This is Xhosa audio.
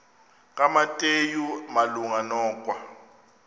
kumateyu malunga nokwa